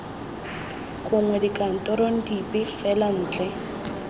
gongwe dikantorong dipe fela ntle